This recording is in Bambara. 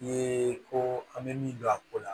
Ye ko an bɛ min don a ko la